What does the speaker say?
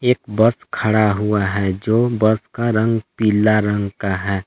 एक बस खड़ा हुआ है जो बस का रंग पीला रंग का है।